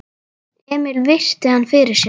Emil virti hann fyrir sér.